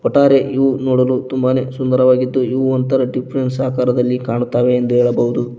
ಒಟ್ಟಾರೆ ಇವು ನೋಡಲು ತುಂಬಾನೇ ಸುಂದರವಾಗಿದ್ದು ಒಂದು ತರ ಡಿಫರೆನ್ಸ್ ಆಕಾರದಲ್ಲಿ ಕಾಣುತ್ತವೆ ಎಂದು ಹೇಳಬಹುದು.